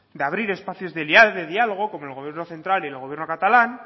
de abrir espacios de diálogo como el gobierno central y el gobierno catalán